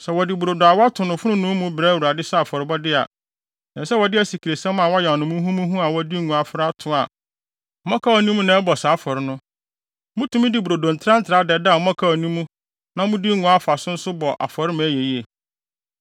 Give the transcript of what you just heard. “ ‘Sɛ wɔde brodo a wɔato no fononoo mu brɛ Awurade sɛ afɔrebɔde a, ɛsɛ sɛ wɔde asikresiam a wɔayam no muhumuhu a wɔde ngo afra ato a mmɔkaw nni mu na ɛbɔ saa afɔre no. Mutumi de brodo ntrantraa dɛdɛ a mmɔkaw nni mu na mode ngo afa so nso bɔ afɔre ma ɛyɛ yiye.